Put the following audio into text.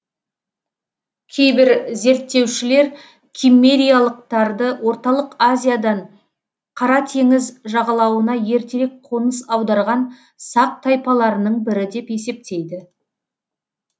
кейбір зерттеушілер киммериялықтарды орталық азиядан қара т жағалауына ертерек қоныс аударған сақ тайпаларының бірі деп есептейді